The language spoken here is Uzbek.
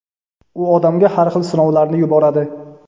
u odamga har xil sinovlarni yuboradi.